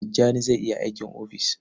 Tijjani zai yi aiki a ofis.